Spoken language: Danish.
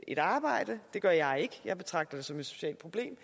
et arbejde det gør jeg ikke jeg betragter det som et socialt problem